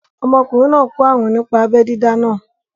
Ọmọkùnrin náà kó àrùn nípa abẹ́ dídá náà